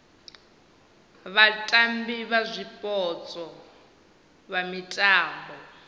vhatambi vha zwipotso vha mitambo